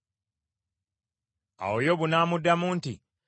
Awo Yobu n’amuddamu nti,